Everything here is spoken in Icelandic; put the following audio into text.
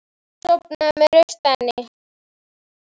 Sofnaði með rautt enni.